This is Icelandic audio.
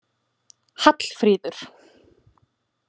Hallfríður